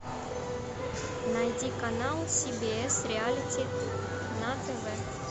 найди канал си би эс реалити на тв